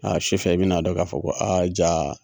A su fɛ i bɛna dɔn k'a fɔ ko aa ja